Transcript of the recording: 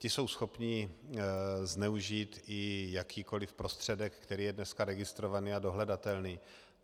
Ti jsou schopni zneužít i jakýkoliv prostředek, který je dneska registrovaný a dohledatelný.